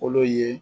Kolo ye